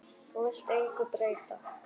Þú vilt engu breyta.